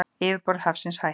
Yfirborð hafsins hækkar